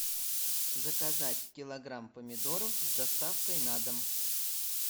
заказать килограмм помидоров с доставкой на дом